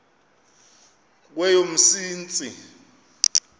kweyomsintsi